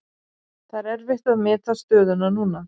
Það er erfitt að meta stöðuna núna.